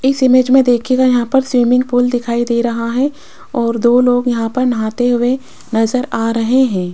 इस इमेज में देखिएगा यहां पर स्विमिंग पूल दिखाई दे रहा है और दो लोग यहां पर नहाते हुए नजर आ रहे हैं।